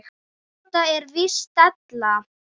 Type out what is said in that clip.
Þetta er víst della.